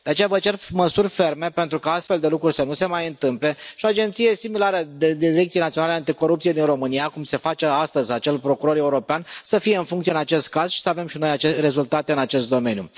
De aceea vă cer măsuri ferme pentru ca astfel de lucruri să nu se mai întâmple și o agenție similară Direcției Naționale Anticorupție din România cum se face astăzi acel procuror european să fie în funcție în acest caz și să avem și noi rezultate în acest domeniu.